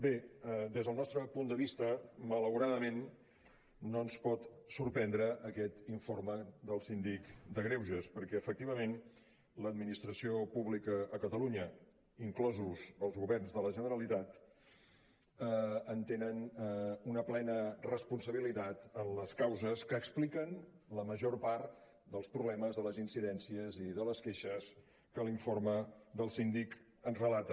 bé des del nostre punt de vista malauradament no ens pot sorprendre aquest informe del síndic de greuges perquè efectivament l’administració pública a catalunya inclosos els governs de la generalitat en tenen una plena responsabilitat en les causes que expliquen la major part dels problemes de les incidències i de les queixes que l’informe del síndic ens relata